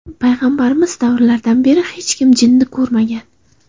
Payg‘ambarimiz davrlaridan beri hech kim jinni ko‘rmagan.